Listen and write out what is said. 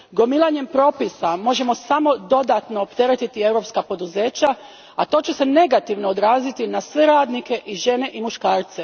Gomilanjem propisa možemo samo dodatno opteretiti europska poduzeća, a to će se negativno odraziti na sve radnike i žene i muškarce.